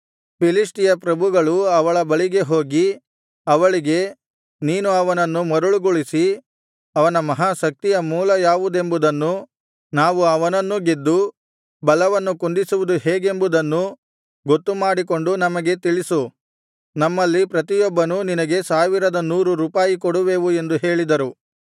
ಫಿಲಿಷ್ಟಿಯ ಪ್ರಭುಗಳು ಅವಳ ಬಳಿಗೆ ಹೋಗಿ ಅವಳಿಗೆ ನೀನು ಅವನನ್ನು ಮರುಳುಗೊಳಿಸಿ ಅವನ ಮಹಾಶಕ್ತಿಯ ಮೂಲ ಯಾವುದೆಂಬುದನ್ನೂ ನಾವು ಅವನನ್ನೂ ಗೆದ್ದು ಬಲವನ್ನು ಕುಂದಿಸುವುದು ಹೇಗೆಂಬುದನ್ನೂ ಗೊತ್ತುಮಾಡಿಕೊಂಡು ನಮಗೆ ತಿಳಿಸು ನಮ್ಮಲ್ಲಿ ಪ್ರತಿಯೊಬ್ಬನೂ ನಿನಗೆ ಸಾವಿರದ ನೂರು ರೂಪಾಯಿ ಕೊಡುವೆವು ಎಂದು ಹೇಳಿದರು